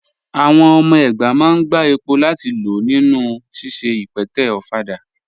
Àwọn ọmọ ẹgbá máa n gbà èpò láti lọ̀ nínu síṣẹ̀ ìpẹ̀tẹ̀ òfàdà.